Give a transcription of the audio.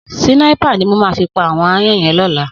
Sìnáipá ni mó má fi pá áwòn àáyàn yèn lòlá